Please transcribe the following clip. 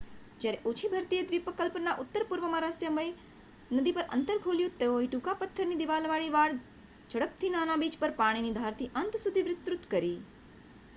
જ્યારે ઓછી ભરતીએ દ્વિપકલ્પના ઉત્તરપૂર્વમાં રહસ્યમય નદી પર અંતર ખોલ્યું તેઓએ ટૂંકા પથ્થરની દિવાલવાળી વાડ ઝડપથી નાના બીચ પર પાણીની ધારથી અંત સુધી વિસ્તૃત કરી